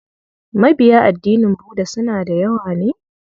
Mabiya addinin Budda suna da yawa ne?